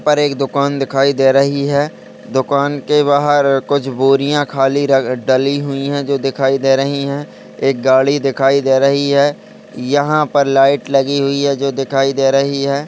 पर एक दुकान दिखाई दे रही है दुकान के बाहर कुछ बोरियाँ खाली र डली हुई हैं जो दिखाई दे रही हैं एक गाड़ी दिखाई दे रही है। यहाँ पर लाइट लगी हुई है जो दिखाई दे रही है।